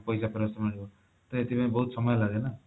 ପଇସା ଫେରସ୍ତ ମିଳିବ ତ ଏଥିପାଇଁ ବହୁତ ସମୟ ଲାଗେ ନା